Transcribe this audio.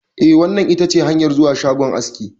Eh, wannan itace hanyar zuwa shagon aski.